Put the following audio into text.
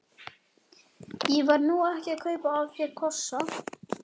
Ég var nú ekki að kaupa af þér kossa.